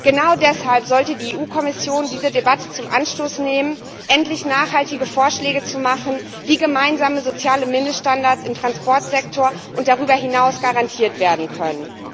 Genau deshalb sollte die EU Kommission diese Debatte zum Anlass nehmen, endlich nachhaltige Vorschläge zu machen, wie gemeinsame soziale Mindeststandards im Transportsektor und darüber hinaus garantiert werden können.